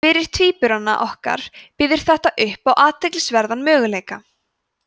fyrir tvíburana okkar býður þetta upp á athyglisverðan möguleika